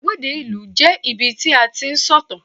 igbagede ìlú je ibi tí a ti n sọ ìtàn